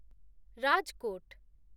Rajkot